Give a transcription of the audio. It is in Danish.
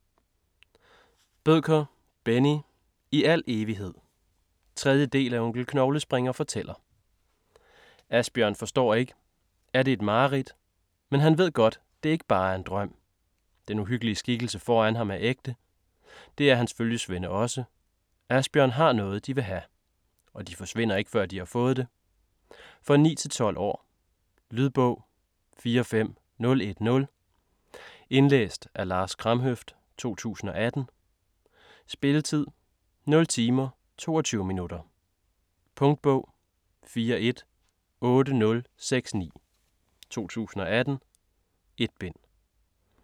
Bødker, Benni: I al evighed 3. del af Onkel Knoglespringer fortæller. Asbjørn forstår ikke. Er det et mareridt? Men han ved godt, det ikke bare er en drøm. Den uhyggelige skikkelse foran ham er ægte. Det er hans følgesvende også. Asbjørn har noget, de vil have. Og de forsvinder ikke, før de får det. For 9-12 år. Lydbog 45010 Indlæst af Lars Kramhøft, 2018. Spilletid: 0 timer, 22 minutter. Punktbog 418069 2018. 1 bind.